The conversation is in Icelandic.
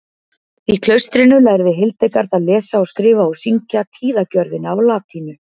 í klaustrinu lærði hildegard að lesa og skrifa og syngja tíðagjörðina á latínu